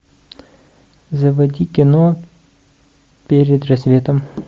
заводи кино перед рассветом